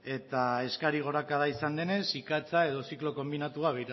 eta eskari gorakada izan denez ikatza edo ziklo konbinatua